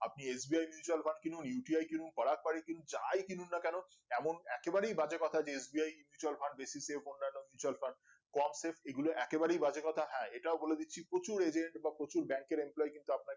আপনি SBI mutual fund কিনুন uti কিনুন পারাক পারিক কিনুন যাই কিনুন না কেন তেমন একেবারেই বাজে কথা যে SBI mutual fund বেশি তে অন্যনো mutual fund এগুলো একেবারেই বাজে কথা হ্যাঁ এটাও বলে দিচ্ছি প্রচুর agent বা প্রচুর bank এর employmen